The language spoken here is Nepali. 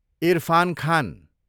इरफान खान